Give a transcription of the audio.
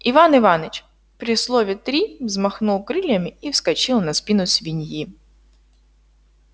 иван иваныч при слове три взмахнул крыльями и вскочил на спину свиньи